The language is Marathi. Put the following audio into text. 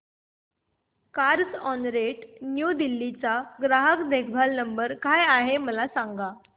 कार्झऑनरेंट न्यू दिल्ली चा ग्राहक देखभाल नंबर काय आहे मला सांग